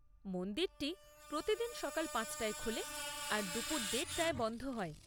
মন্দিরটি প্রতিদিন সকাল পাঁচ টায় খোলে আর দুপুর দেড়টায় বন্ধ হয়।